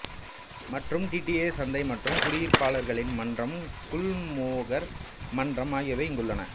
மற்றும் D D A சந்தை மற்றும் குடியிருப்பாளர்களின் மன்றமான குல்மோகர் மன்றம் ஆகியவை இங்குள்ளன